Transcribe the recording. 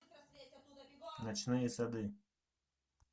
ночные сады